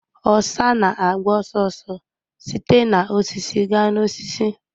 Osa na-agba ọsọ ọsọ site na osisi gaa n'osisi